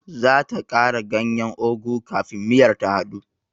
Zata kara ganyen ugu kafin miyar ta hadu.